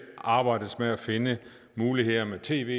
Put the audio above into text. arbejdes med at finde muligheder med tv